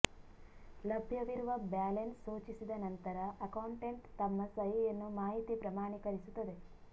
ಲಭ್ಯವಿರುವ ಬ್ಯಾಲೆನ್ಸ್ ಸೂಚಿಸಿದ ನಂತರ ಅಕೌಂಟೆಂಟ್ ತಮ್ಮ ಸಹಿಯನ್ನು ಮಾಹಿತಿ ಪ್ರಮಾಣೀಕರಿಸುತ್ತದೆ